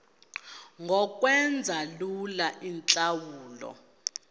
ngokwenza lula iintlawulo